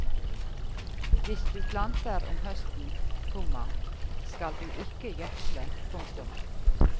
Hvis du planter om høsten, komma skal du ikke gjødsle. punktum